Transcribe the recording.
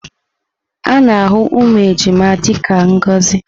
A na-ahụ ụmụ ejima dị ka ngọzi.